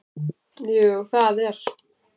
Jú það er